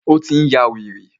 Ó tí n yá wèrè.